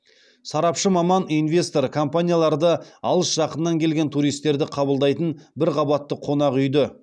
сарапшы маман инвестор компанияларды алыс жақыннан келген туристерді қабылдайтын бір қабатты қонақүйді